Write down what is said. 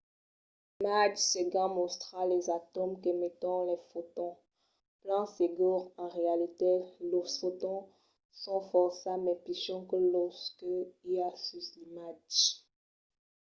l'imatge seguent mòstra los atòms qu'emeton de fotons. plan segur en realitat los fotons son fòrça mai pichons que los que i a sus l'imatge